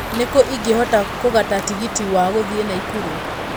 Nĩ kũ ingĩhota kũgata tigiti wa gũthiĩ naikuru